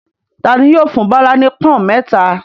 Ta ni yóò fún Bọ́lá ní pọ́ń-ọ̀n mẹ́ta?